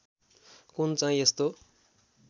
कुन चाहिँ यस्तो